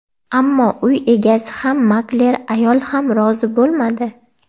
Ammo uy egasi ham, makler ayol ham rozi bo‘lmadi.